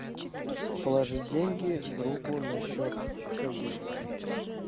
положить деньги другу на счет сергею